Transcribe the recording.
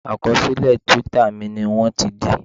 Àkọsílẹ̀ twitter mi ni wọ́n ti dí